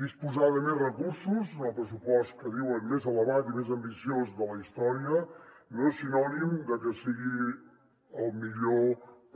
disposar de més recursos en el pressupost que diuen que és el més elevat i més ambiciós de la història no és sinònim de que sigui el millor